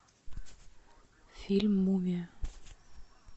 фильм мумия